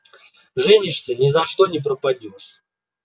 женишься ни за что пропадёшь